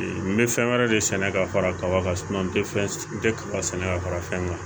N bɛ fɛn wɛrɛ de sɛnɛ ka fara kaba kan n tɛ n tɛba sɛnɛ ka fara fɛn kan